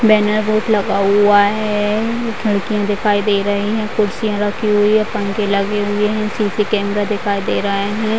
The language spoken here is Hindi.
बेनर बोर्ड लगा हुआ है खिड़कियाँ दिखाई दे रही हैं कुर्सियां रखी हुई है पंखे लगे हुए है सी.सी. कैमरा दिखाई दे रहा हैं।